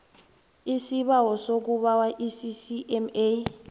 isibawo sokubawa iccma